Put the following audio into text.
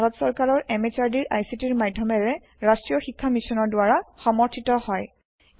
ই ভাৰত সৰকাৰৰ MHRDৰ ICTৰ মাধ্যমেৰে ৰাষ্ট্ৰীয় শীক্ষা মিছনৰ দ্ৱাৰা সমৰ্থিত হয়